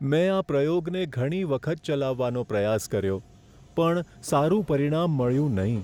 મેં આ પ્રયોગને ઘણી વખત ચલાવવાનો પ્રયાસ કર્યો પણ સારું પરિણામ મળ્યું નહીં.